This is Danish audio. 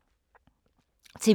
TV 2